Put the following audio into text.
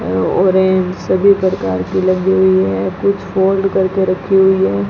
Orange सभी प्रकार की लगी हुई हैं कुछ फोल्ड करके रखी हुई हैं।